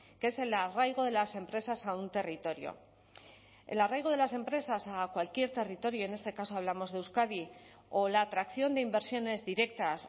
que es el arraigo de las empresas a un territorio el arraigo de las empresas a cualquier territorio en este caso hablamos de euskadi o la atracción de inversiones directas